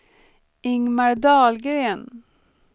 Ingmar Dahlgren